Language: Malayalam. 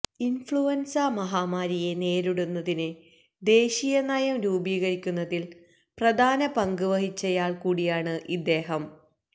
ഇന്ഫ്ലുവന്സ മഹാമാരിയെ നേരിടുന്നതിന് ദേശീയനയം രൂപീകരിക്കുന്നതില് പ്രധാന പങ്ക് വഹിച്ചയാള് കൂടിയാണ് ഇദ്ദേഹം